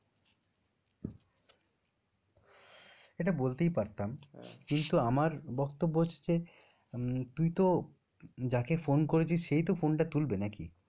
এটা বলতেই পারতাম, কিন্তু আমার বক্তব্য হচ্ছে তুই তো যাকে ফোন করেছিস সেই তো ফোনটা তুলবে নাকি।